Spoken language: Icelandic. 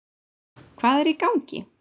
Hvað er í gangi?